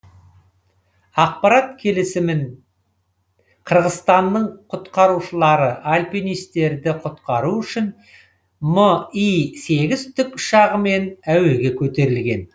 ақпарат келісімен қырғызстанның құтқарушылары альпинистерді құтқару үшін ми сегіз тікұшағымен әуеге көтерілген